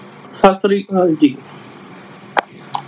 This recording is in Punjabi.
ਸਤਿ ਸ਼੍ਰੀ ਅਕਾਲ ਜੀ।